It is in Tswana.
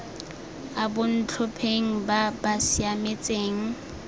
a bontlhopheng ba ba siametseng